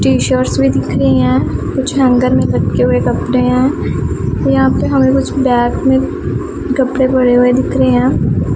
T shirts भी दिख रही हैं कुछ हैंगर में लटके हुए कपड़े हैं यहां पे हमें कुछ बैग में कपड़े पड़े हुए दिख रही हैं।